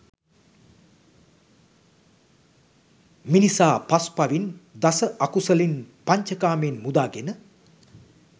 මිනිසා පස්පවින්, දස අකුසලින්, පංච කාමයෙන් මුදාගෙන